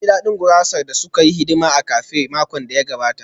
Na ji daɗin gurasar da suka yi hidima a cafe a makon da ya gabata